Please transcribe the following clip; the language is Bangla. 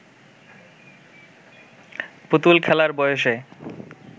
পুতুল খেলার বয়সে